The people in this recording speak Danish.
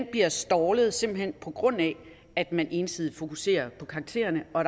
bliver stallet simpelt hen på grund af at man ensidigt fokuserer på karaktererne og